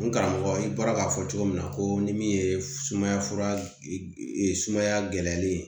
N karamɔgɔ i bɔra ka fɔ cogo min na ko ni min ye sumaya fura gɛlɛyali ye